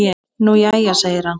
Nú jæja segir hann.